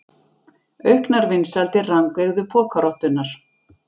Auknar vinsældir rangeygðu pokarottunnar